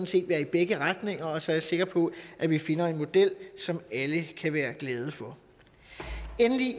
set være i begge retninger så er jeg sikker på at vi finder en model som alle kan være glade for endelig